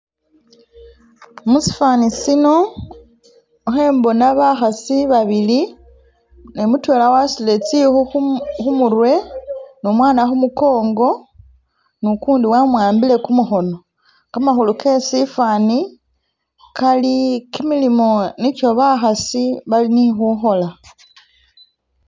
Muchifani chino khembona bakhasi babili ne mudwela wasudile zikhu khumurwe ni umwana khumugongo ni gundi wamuhambile gumukhono gamakhulu ge chifani gali gimilimo nigyo bakhasi balinikhukhola.